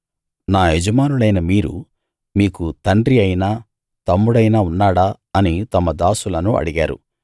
నా యజమానులైన మీరు మీకు తండ్రి అయినా తమ్ముడైనా ఉన్నాడా అని తమ దాసులను అడిగారు